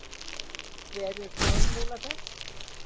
Hver er formúla þess?